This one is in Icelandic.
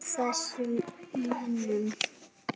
Út af þessum mönnum?